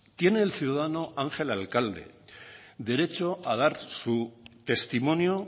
tiene el ciudadano ángel alcalde derecho a dar su testimonio